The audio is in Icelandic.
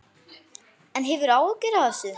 En hefurðu áhyggjur af þessu?